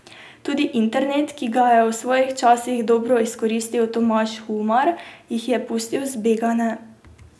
Tudi internet, ki ga je v svojih časih dobro izkoristil Tomaž Humar, jih je pustil zbegane.